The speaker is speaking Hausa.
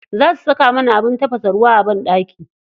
Za su saka mana abin tafasa ruwa a banɗaki.